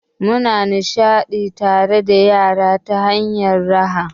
Muna nishaɗantar da yara ta hanyar raha.